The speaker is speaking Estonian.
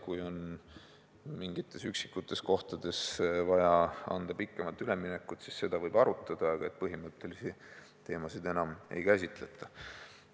Kui on mingites üksikutes kohtades vaja anda pikemat üleminekut, siis seda võib arutada, aga põhimõttelisi teemasid enam ei käsitleta.